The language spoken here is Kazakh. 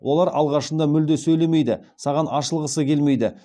олар алғашында мүлде сөйлемейді саған ашылғысы келмейді